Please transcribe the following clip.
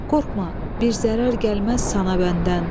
Qorxma, bir zərər gəlməz sana bəndən.